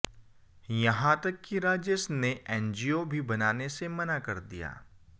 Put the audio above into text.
यहां तक कि राजेश ने एनजीओ भी बनाने से मना कर दिया